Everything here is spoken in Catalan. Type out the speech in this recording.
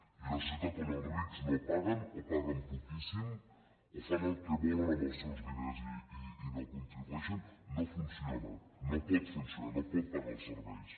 i una societat on els rics no paguen o paguen poquíssim o fan el que volen amb els seus diners i no contribueixen no funciona no pot funcionar no pot pagar els serveis